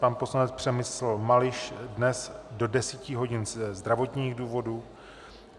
Pan poslanec Přemysl Mališ dnes do 10 hodin ze zdravotních důvodů.